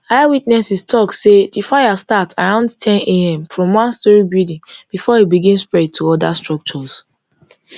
eyewitnesses tok say di fire start around ten am from one twostorey building bifor e begin spread to oda structures